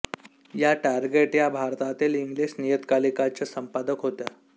या टारगेट या भारतातील इंग्लिश नियतकालिकाच्या संपादक होत्या